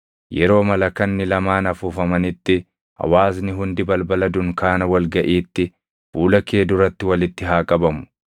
Yeroo malakanni lamaan afuufamanitti hawaasni hundi balbala dunkaana wal gaʼiitti fuula kee duratti walitti haa qabamu.